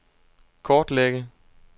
kortlægge